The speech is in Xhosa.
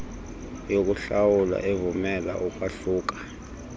yokuhlawula evumela ukwahluka